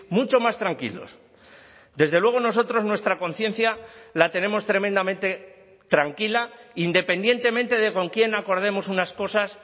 mucho más tranquilos desde luego nosotros nuestra conciencia la tenemos tremendamente tranquila independientemente de con quién acordemos unas cosas